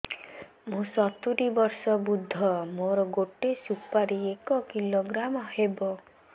ମୁଁ ସତୂରୀ ବର୍ଷ ବୃଦ୍ଧ ମୋ ଗୋଟେ ସୁପାରି ଏକ କିଲୋଗ୍ରାମ ହେବ